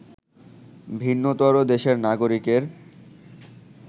ভিন্নতর দেশের নাগরিকের